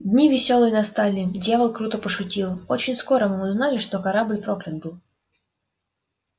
дни весёлые настали дьявол круто пошутил очень скоро мы узнали что корабль проклят был